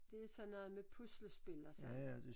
Det er sådan noget med puslespil og sådan